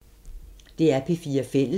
DR P4 Fælles